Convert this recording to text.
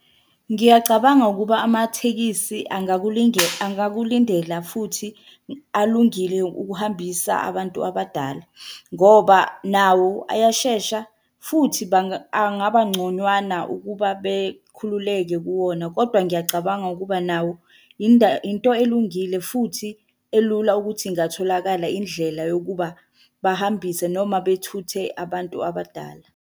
Ngiyacabanga ukuba amathekisi angakulindela futhi alungile ukuhambisa abantu abadala, ngoba nawo ayashesha futhi angaba ngconywana ukuba bekhululeke kuwona, kodwa ngiyacabanga ukuba nawo into elungile futhi elula ukuthi ingatholakala indlela yokuba bahambise noma bethuthe abantu abadala.